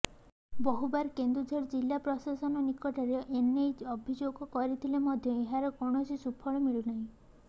ବହୁବାର କେନ୍ଦୁଝର ଜିଲ୍ଲା ପ୍ରଶାସନ ନିକଟରେ ଏନେଇ ଅଭିଯୋଗ କରିଥିଲେ ମଧ୍ୟ ଏହାର କୌଣସି ସୁପଳ ମିଳୁନାହିଁ